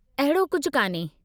अहिड़ो कुझु कान्हे।